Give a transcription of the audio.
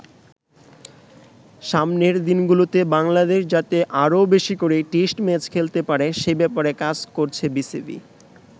সামনের দিনগুলোতে বাংলাদেশ যাতে আরও বেশি করে টেস্ট ম্যাচ খেলতে পারে সে ব্যাপারে কাজ করছে বিসিবি।